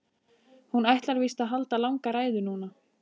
Hún ætlar víst að halda langa ræðu núna.